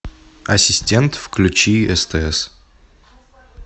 ассистент включи стс